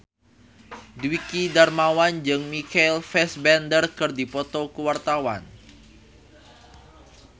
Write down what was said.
Dwiki Darmawan jeung Michael Fassbender keur dipoto ku wartawan